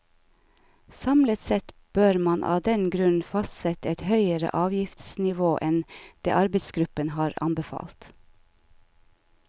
Samlet sett bør man av den grunn fastsette et høyere avgiftsnivå enn det arbeidsgruppen har anbefalt.